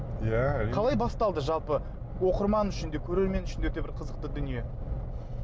иә әрине қалай басталды жалпы оқырман үшін де көрермен үшін де өте бір қызықты дүние